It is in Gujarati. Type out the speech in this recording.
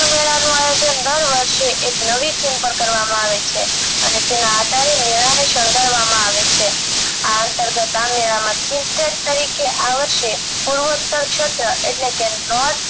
મેળા નું આયોજન દર વર્ષે નવી theme અને તેના આધારે મેળા ને શણગારવામાં આવ છે આ અંતર્ગત આ મેળા માં તરીકે આ વર્ષે